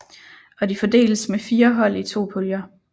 Og de fordeles med fire hold i to puljer